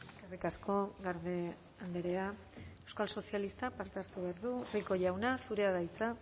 eskerrik asko garde andrea euskal sozialistak parte hartu behar du rico jauna zurea da hitza